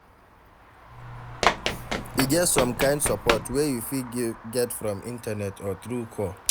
E get some kind support wey you fit get from Internet or through call